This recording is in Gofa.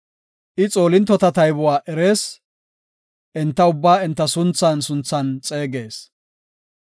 I xoolintota taybuwa erees; enta ubbaa enta sunthan sunthan xeegees.